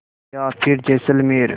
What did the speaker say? या फिर जैसलमेर